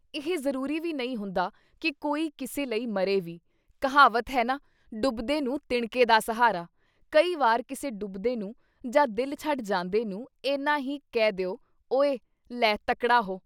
ਇਹ ਜ਼ਰੂਰੀ ਵੀ ਨਹੀਂ ਹੁੰਦਾ ਕਿ ਕੋਈ ਕਿਸੇ ਲਈ ਮਰੇ ਵੀ, ਕਹਾਵਤ ਹੈ ਨਾਂ ‘ਡੁਬਦੇ ਨੂੰ ਤਿਣਕੇ ਦਾ ਸਹਾਰਾ’ ਕਈ ਵਾਰ ਕਿਸੇ ਡੁਬਦੇ ਨੂੰ ਜਾਂ ਦਿਲ ਛੱਡ ਜਾਂਦੇ ਨੂੰ ਏਨਾ ਹੀ ਕਹਿ ਦਿਓ ‘ਓਏ ਲੈ ਤਕੜਾ ਹੋ’।